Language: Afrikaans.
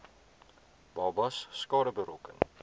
babas skade berokken